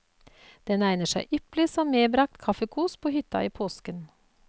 Den egner seg ypperlig som medbragt kaffekos på hytta i påsken.